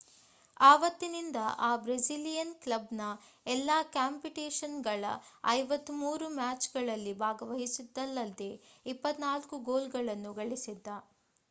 ಆವತ್ತಿನಿಂದ ಆ ಬ್ರೆಸಿಲಿಯನ್ ಕ್ಲಬ್‌ನ ಎಲ್ಲಾ ಕಾಂಪಿಟೇಷನ್‌ನ 53 ಮ್ಯಾಚ್‍‌ಗಳಲ್ಲಿ ಭಾಗವಹಿಸಿದ್ದಲ್ಲದೆ 24 ಗೋಲ್‍ಗಳನ್ನು ಗಳಿಸಿದ್ದ